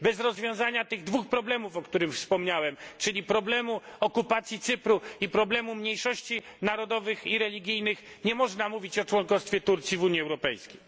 Bez rozwiązania tych dwóch problemów, o których wspomniałem, czyli problemu okupacji Cypru i problemu mniejszości narodowych i religijnych, nie można mówić o członkostwie Turcji w Unii Europejskiej.